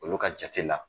Olu ka jate la